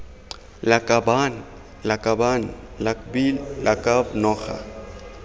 lakabaaan lakaban lakbi lakab noga